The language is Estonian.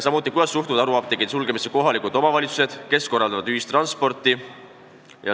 Samuti, kuidas suhtuvad haruapteekide sulgemisse kohalikud omavalitsused, kes korraldavad ühistransporti?